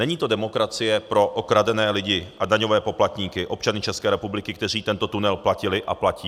Není to demokracie pro okradené lidi a daňové poplatníky, občany České republiky, kteří tento tunel platili a platí.